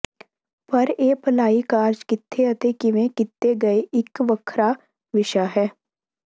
ਪਰ ਇਹ ਭਲਾਈ ਕਾਰਜ਼ ਕਿੱਥੇ ਅਤੇ ਕਿਵੇ ਕੀਤੇ ਗਏ ਇੱਕ ਵੱਖਰਾਂ ਵਿਸ਼ਾ ਹੈ